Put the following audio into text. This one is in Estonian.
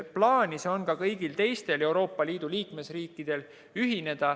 Plaanis on ühineda ka kõigil teistel Euroopa Liidu liikmesriikidel.